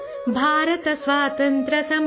रेनाडू प्रांत के सूरज